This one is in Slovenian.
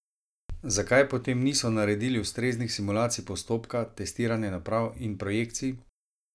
Zakaj potem niso naredili ustreznih simulacij postopka, testiranja naprav in projekcij?